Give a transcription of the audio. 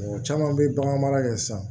Mɔgɔ caman bɛ bagan mara kɛ sisan